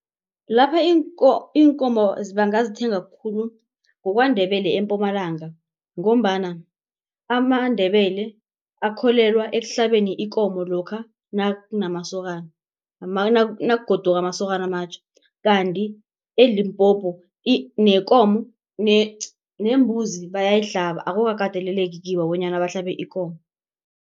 Lapha iinkomo bangazithenga khulu kuKwaNdebele eMpumalanga ngombana amaNdebele akholelwa ekuhlabeni ikomo lokha nakunamasokana nakugoduka amasokana amatjha. Kanti eLimpopo nekomo nembuzi bayayihlaba akukakateleleki kibo bonyana bahlabe ikomo.